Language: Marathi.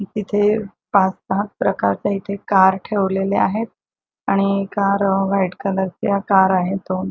तिथे पाच सहा प्रकारच्या इथे कार ठेवलेल्या आहे आणि कार व्हाइट कलरच्या कार आहे दोन.